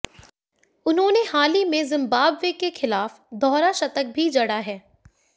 उन्होंने हाल ही में जिम्बाब्वे के खिलाफ दोहरा शतक भी जड़ा है